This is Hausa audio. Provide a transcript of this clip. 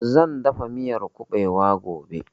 Zan dafa miyan ƙubewa gobe